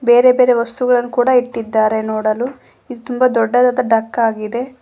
ಬೇರೆ ಬೇರೆ ವಸ್ತುಗಳನ್ನು ಕೂಡ ಇಟ್ಟಿದ್ದಾರೆ ನೋಡಲು ಇದು ತುಂಬಾ ದೊಡ್ಡದಾದ ಡಕ್ಕ್ ಆಗಿದೆ.